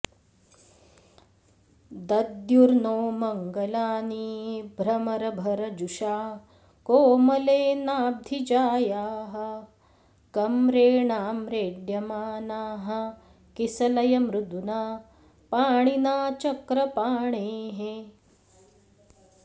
दद्युर्नो मङ्गलानि भ्रमरभरजुषा कोमलेनाब्धिजायाः कम्रेणाम्रेड्यमानाः किसलयमृदुना पाणिना चक्रपाणेः